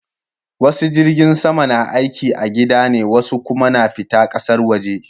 Wasu jirgin sama na aiki a gida ne wasu kuma na fita ƙasar waje